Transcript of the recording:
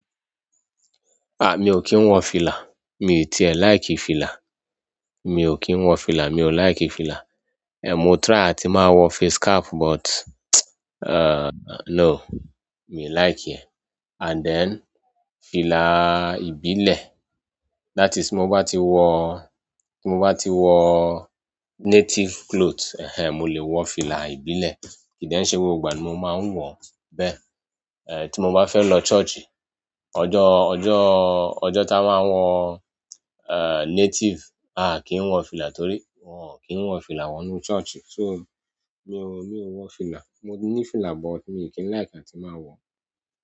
Ah mi o kín wọ fìlà, mi tiẹ̀ like fìlà. Mi o kín wọ fìlà, mi o like fìlà. Eh mo try a ti máa wọ face cap but eh no mi like e. And then fìlà ìbílẹ̀, that is tí mo bá ti wọ, tí mo bá ti wọ native clothe, ẹh ẹn, mo le wọ fìlà ìbílẹ̀ kìí dẹ n ṣe gbogbo ìgbà ni mo máa ń wọ bẹ́ẹ̀. Eh tí mo bá fẹ́ lọ church, ọjọ́, ọjọ́, ọjọ́ táa máa ń wọ eh native, a a kí n wọ fìlà torí wọ́n kì í n wọ fìlà wọ inú church. So mi ò, mi ò wọ fìlà. Mo ní fìlà but mi o kín like am tí máa wọ.